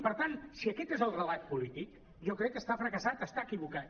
per tant si aquest és el relat polític jo crec que està fracassat està equivocat